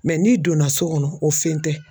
Mɛ n'i donna so kɔnɔ o fɛn tɛ